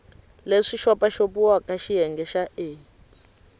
leswi xopaxopiwaka xiyenge xa a